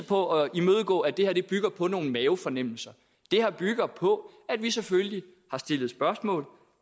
på at imødegå at det her bygger på nogle mavefornemmelser det her bygger på at vi selvfølgelig har stillet spørgsmål